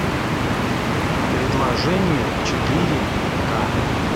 предложение четыре к